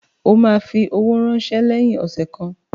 O ma fi owó ránsẹ́ lẹ́yìn ọ̀sẹ̀ kan